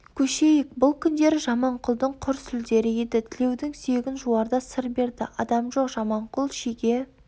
көшейік бұл күндері жаманқұлдың құр сүлдері еді тілеудің сүйегін жуарда сыр берді адам жоқ жаманқұл шиге